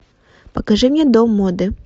покажи мне дом моды